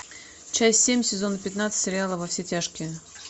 часть семь сезон пятнадцать сериала во все тяжкие